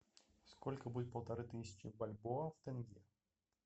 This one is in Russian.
сколько будет полторы тысячи бальбоа в тенге